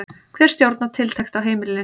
Hver stjórnar tiltekt á heimilinu?